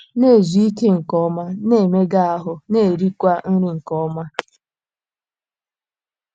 Na - ezu ike nke ọma, na - emega ahụ́, na - erikwa nri nke ọma.